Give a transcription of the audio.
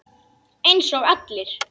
Eins og allir.